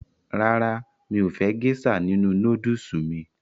Rárá, mi ò fẹ́ gésà nínu nódùsù mí